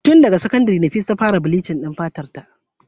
Tun daga sakandire Nafisa ta fara bleaching din fatarta.